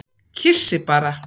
Kyssi bara.